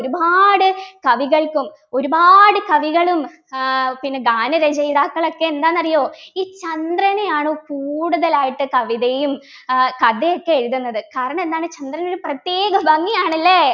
ഒരുപാട് കവികൾക്കും ഒരുപാട് കവികളും ഏർ പിന്നെ ഗാനരചയിതാക്കൾ ഒക്കെ എന്താന്നറിയോ ഈ ചന്ദ്രനെയാണ് കൂടുതലായിട്ട് കവിതയും ഏർ കഥയൊക്കെ എഴുതുന്നത് കാരണമെന്താണ് ചന്ദ്രൻ ഒരു പ്രത്യേക ഭംഗിയാണ് അല്ലേ